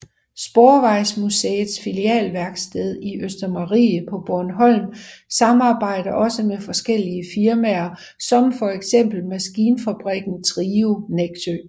Sporvejsmuseets filialværksted i Østermarie på Bornholm samarbejder også med forskellige firmaer som for eksempel maskinfabrikken Trio Nexø